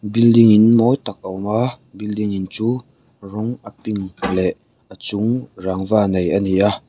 building in mawi tak a awm a building in chu rawng a pink leh a chung rangva nei ani a.